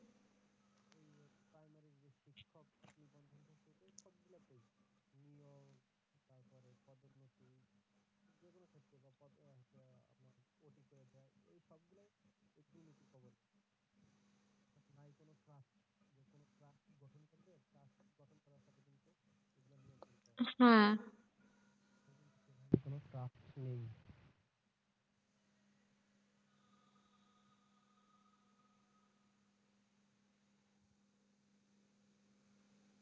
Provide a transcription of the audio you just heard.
হ্যাঁ।